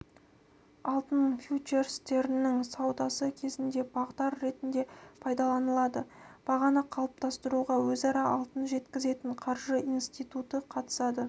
алтын фьючерстерінің саудасы кезінде бағдар ретінде пайдаланылады бағаны қалыптастыруға өзара алтын жеткізетін қаржы институты қатысады